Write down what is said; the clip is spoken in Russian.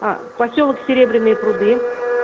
посёлок серебряные пруды